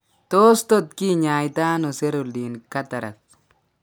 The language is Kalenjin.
Tos tot kinyaitaano cerulean cataracts?